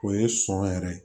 O ye sɔn yɛrɛ ye